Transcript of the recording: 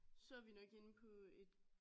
Så er vi nok inde på et